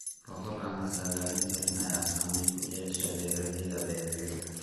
Roobab aan la saadaalin karin ayaa saameyn ku yeeshay beeraleyda beeraleyda.